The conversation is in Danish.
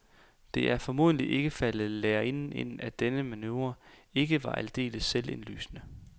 Det er formodentlig ikke faldet lærerinden ind, at denne manøvre ikke var aldeles selvindlysende.